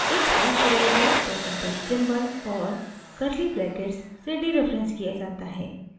एक hash variable percentage % symbol और curly brackets से डीरेफरेंस किया जाता है